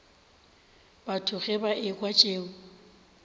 batho ge ba ekwa tšeo